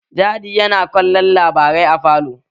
Daddy ya na kallon labarai a falo